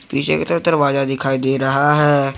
पीछे की तरफ दरवाजा दिखाई दे रहा है।